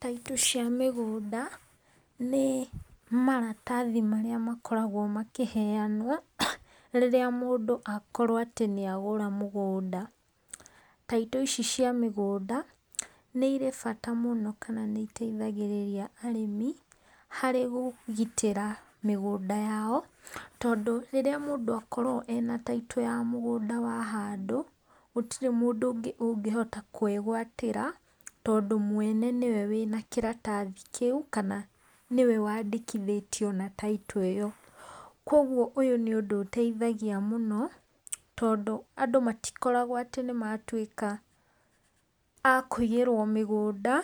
Title cia mĩgũnda nĩ maratathi marĩa makoragwo makĩheanwo rĩrĩa mũndũ akorwo atĩ nĩ agũra mũgũnda. Title ici cia mĩgũnda nĩ irĩ bata mũno kana nĩ iteithagĩrĩria arĩmi harĩ kũgitĩra mĩgũnda yao. Tondũ rĩrĩa mũndũ akorwo ena Title ya mũgũnda wa handũ, gũtirĩ mũndũ ũngĩ ũngĩhota kwĩgũatĩra tondũ mwene nĩwe wĩna kĩratathi kĩu kana nĩwe waandĩkithĩtio na Title ĩyo. Kwoguo ũyũ nĩ ũndũ ũteithagia mũno tondũ andũ matikoragwo atĩ nĩ matuĩka a kũiyĩrwo mĩgũnda.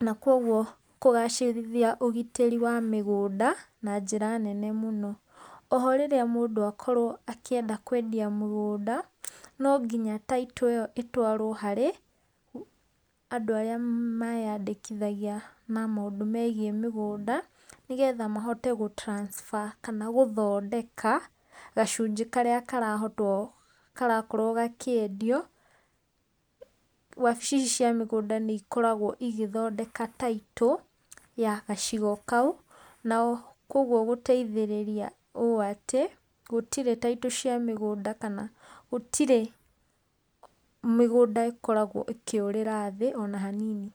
Na kwoguo kũgacĩrithia ũgitĩri wa mĩgũnda na njĩra nene mũno. O ho rĩrĩa mũndũ akorwo akĩenda kwendia mũgũnda no nginya Title ĩyo ĩtwarwo harĩ andũ arĩa meyandĩkithagia na maũndũ megiĩ mĩgũnda, nĩgetha mahote gũ transfer kana gũthondeka gacunjĩ karĩa karakorwo gakĩendio. Wabici ici cia mĩgũnda nĩ ikoragwo ĩgĩthondeka Title ya gacigo kau na kwoguo gũteithĩrĩria ũũ atĩ gũtirĩ Title cia mĩgũnda kana gũtirĩ mĩgũnda ĩkoragwo ĩkĩũrĩra thĩ ona hanini.